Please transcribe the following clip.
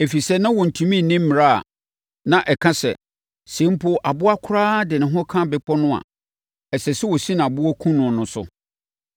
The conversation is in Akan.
ɛfiri sɛ, na wɔntumi nni mmara a na ɛka sɛ, “Sɛ mpo aboa koraa de ne ho ka bepɔ no a, ɛsɛ sɛ wɔsi no aboɔ kum no” no so.